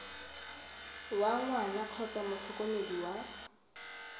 wa ngwana kgotsa motlhokomedi wa